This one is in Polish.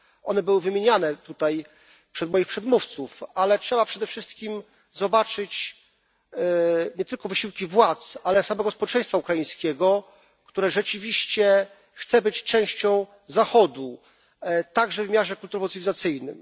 one były wymieniane tutaj przez moich przedmówców, ale trzeba przede wszystkim zobaczyć nie tylko wysiłki władz, ale samego społeczeństwa ukraińskiego, które rzeczywiście chce być częścią Zachodu także w wymiarze kulturowo cywilizacyjnym.